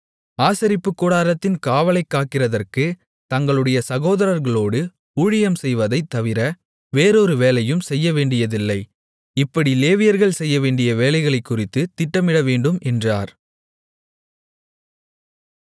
ஆசரிப்புக்கூடாரத்தின் காவலைக்காக்கிறதற்குத் தங்களுடைய சகோதரர்களோடு ஊழியம் செய்வதைத் தவிர வேறொரு வேலையும் செய்யவேண்டியதில்லை இப்படி லேவியர்கள் செய்யவேண்டிய வேலைகளைக்குறித்துத் திட்டமிடவேண்டும் என்றார்